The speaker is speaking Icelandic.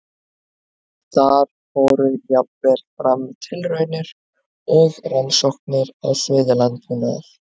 Þar fóru jafnvel fram tilraunir og rannsóknir á sviði landbúnaðar.